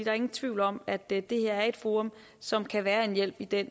er ingen tvivl om at det er et forum som kan være en hjælp i den